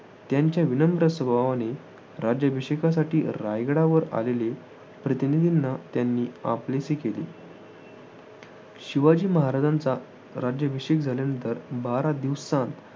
त्यांच्या विनम्र स्वभावाने राज्याभिषेकासाठी रायगडावर आलेल्या प्रतिनिधींना त्यांनी आपलेसे केले. शिवाजी महाराजांचा राज्याभिषेक झाल्यानंतर बारा दिवसात